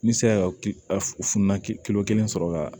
N bɛ se ka kilan kilo kelen sɔrɔ ka